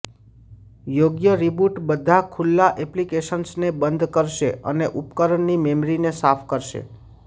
યોગ્ય રીબૂટ બધા ખુલ્લા એપ્લિકેશન્સને બંધ કરશે અને ઉપકરણની મેમરીને સાફ કરશે